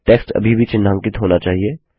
text अभी भी चिन्हांकित होना चाहिए